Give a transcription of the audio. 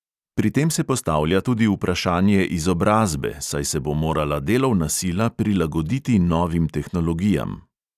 Pri tem se postavlja tudi vprašanje izobrazbe, saj se bo morala delovna sila prilagoditi novim tehnologijam.